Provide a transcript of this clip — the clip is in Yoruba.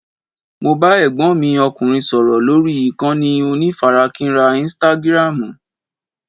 Mo bá Ẹ̀gbọ́n mi ọkùnrin sọ̀rọ̀ lórí ìkànnì onífarakínra "istágiráámù".